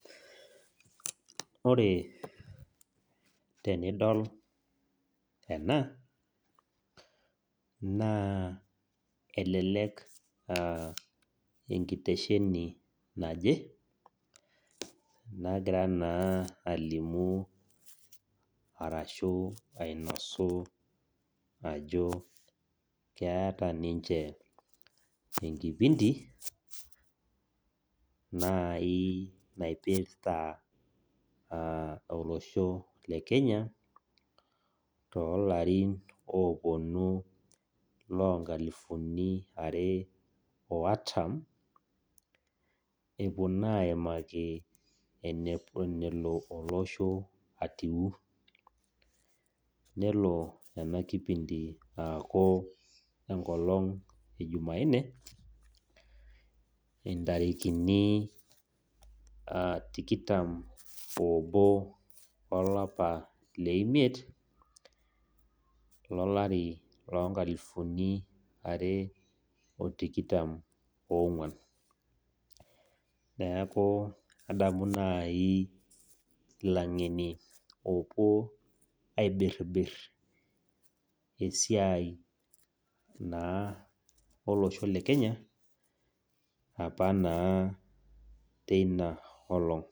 Ore tenidol ena naa elelek aa enkitesheni naje nagira naa alimu arashu ainosu keeta ninche enkipinti naipirta olosho lekenya tolarin oponu lonkalifuni are oartam, epuo naa aimaki enelo olosho atiu, nelo enakipinti aaku enkolong ejumanne , ntarikini tikitam obo olapa leimiet , lalori loonkalifuni are otikitam . Neku adamu nai ilangeni opuo aibirbir esiai naa olosho lekenya apa naa teina olong.